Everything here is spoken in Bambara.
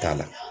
T'a la